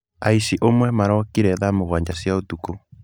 Aici ũmwe marokire thaa mũgwanja cia ũtukũ.